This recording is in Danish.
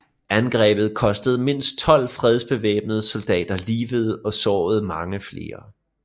Angrebet kostede mindst 12 fredsbevarende soldater livet og sårede mange flere